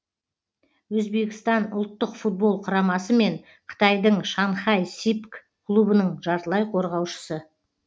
өзбекістан ұлттық футбол құрамасы мен қытайдың шанхай сипг клубының жартылай қорғаушысы